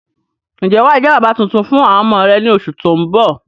Ń jẹ́ wàá jẹ́ bàbà tuntun fún àwọn ọmọ rẹ ni oṣù tóun bọ̀